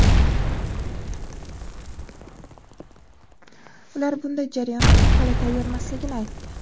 Ular bunday jarayon uchun hali tayyormasligini aytdi.